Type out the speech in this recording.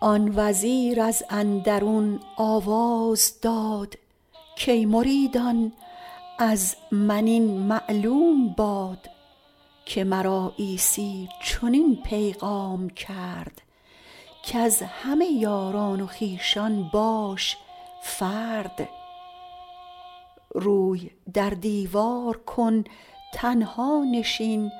آن وزیر از اندرون آواز داد کای مریدان از من این معلوم باد که مرا عیسی چنین پیغام کرد کز همه یاران و خویشان باش فرد روی در دیوار کن تنها نشین